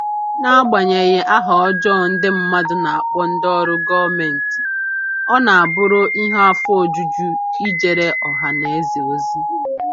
N'agbanyeghị aha ọjọọ ndị mmadụ na-akpọ ndị ọrụ gọọmentị, ọ na-abụrụ ihe afọ ojuju ijere ọha na eze ozi